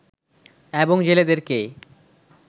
এবং জেলেদেরকে